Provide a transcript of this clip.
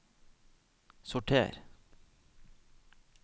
sorter